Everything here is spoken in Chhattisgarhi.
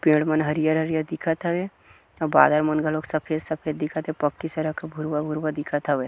पेड़ मन हरिअर हरियर दिखत हवे और बादल मन घलो सफ़ेद सफ़ेद दिखत हवे पक्की सड़क ह भुरवा भुरवा दिखत हवे --